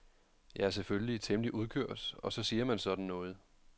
Jeg er selvfølgelig temmelig udkørt og så siger man sådan noget.